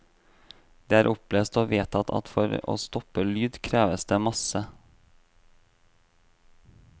Det er opplest og vedtatt at for å stoppe lyd, kreves det masse.